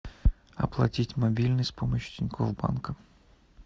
оплатить мобильный с помощью тинькофф банка